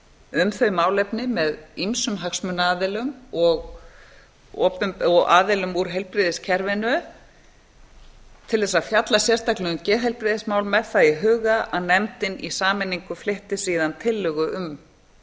um þau málefni með ýmsum hagsmunaaðilum og aðilum úr heilbrigðiskerfinu til þess að fjalla sérstaklega um geðheilbrigðismál með það í huga að nefndin í sameiningu flytti síðan tillögu um